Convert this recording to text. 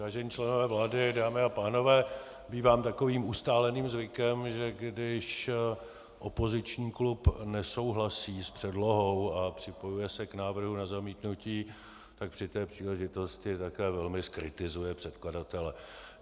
Vážení členové vlády, dámy a pánové, bývá takovým ustáleným zvykem, že když opoziční klub nesouhlasí s předlohou a připojuje se k návrhu na zamítnutí, tak při té příležitosti také velmi zkritizuje předkladatele.